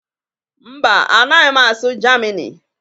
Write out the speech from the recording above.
Mba, anaghị m asụ Germini